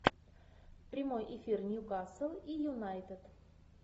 прямой эфир ньюкасл и юнайтед